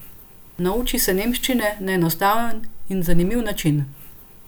Nauči se nemščine na enostaven in zanimiv način!